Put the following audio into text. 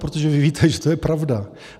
Protože vy víte, že to je pravda.